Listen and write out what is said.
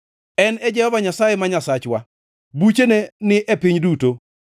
En e Jehova Nyasaye ma Nyasachwa; buchene ni e piny duto.